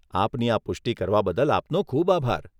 આપની આ પુષ્ટિ કરવા બદલ આપનો ખૂબ આભાર.